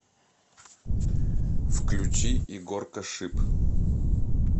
включи егоркашип